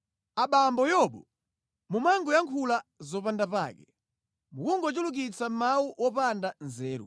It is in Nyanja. abambo Yobu mumangoyankhula zopandapake, mukungochulukitsa mawu opanda nzeru.”